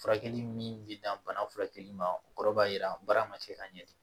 Furakɛli min bɛ dan bana furakɛli ma o kɔrɔ b'a jira baara ma kɛ ka ɲɛ de